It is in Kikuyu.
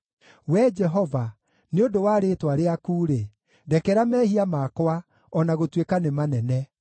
Wee Jehova, nĩ ũndũ wa rĩĩtwa rĩaku-rĩ, ndekera mehia makwa, o na gũtuĩka nĩ manene.